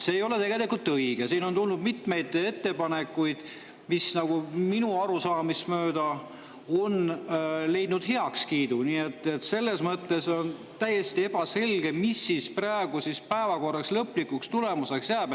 See ei ole tegelikult õige, siin on tulnud mitmeid ettepanekuid, mis minu arusaamist mööda on leidnud heakskiidu, nii et selles mõttes on täiesti ebaselge, mis praegu päevakorras lõplikuks tulemuseks jääb.